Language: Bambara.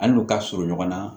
An n'u ka surun ɲɔgɔn na